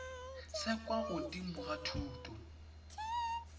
se kwa godimo sa thuto